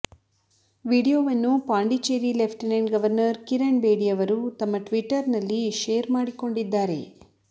ವಿಡಿಯೋವನ್ನು Pondicherry lieutenant governor Kiran Bedi ಅವರು ತಮ್ಮ ಟ್ವಿಟ್ಟರ್ ನಲ್ಲಿ ಶೇರ್ ಮಾಡಿಕೊಂಡಿದ್ದಾರೆ